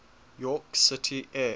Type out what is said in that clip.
york city area